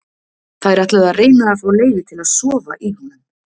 Þær ætluðu að reyna að fá leyfi til að sofa í honum.